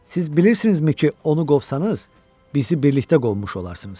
Siz bilirsizmi ki, onu qovsanız, bizi birlikdə qovmuş olarsınız.